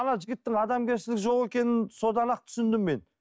ана жігіттің адамгершілігі жоқ екенін содан ақ түсіндім мен